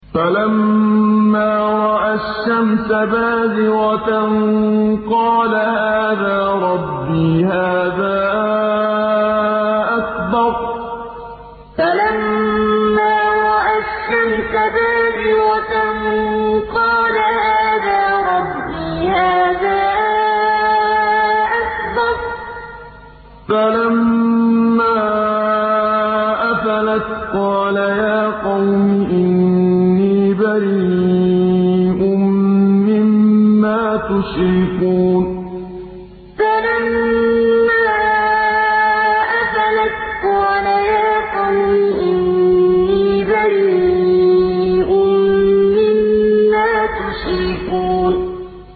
فَلَمَّا رَأَى الشَّمْسَ بَازِغَةً قَالَ هَٰذَا رَبِّي هَٰذَا أَكْبَرُ ۖ فَلَمَّا أَفَلَتْ قَالَ يَا قَوْمِ إِنِّي بَرِيءٌ مِّمَّا تُشْرِكُونَ فَلَمَّا رَأَى الشَّمْسَ بَازِغَةً قَالَ هَٰذَا رَبِّي هَٰذَا أَكْبَرُ ۖ فَلَمَّا أَفَلَتْ قَالَ يَا قَوْمِ إِنِّي بَرِيءٌ مِّمَّا تُشْرِكُونَ